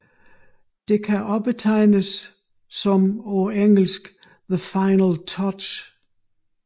Det kan også betegnes som på engelsk The Final Touch